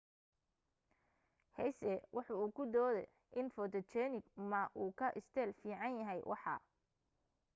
hsieh waxa uu ku doode in photogenic ma uu ka isteel fiican yahay waxa